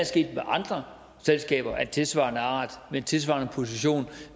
sket med andre selskaber af tilsvarende art med tilsvarende position